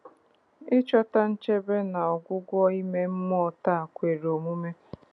Ị chọta nchebe na ọgwụgwọ ime mmụọ taa kwere omume.